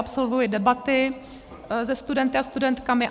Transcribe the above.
Absolvuji debaty se studenty a studentkami.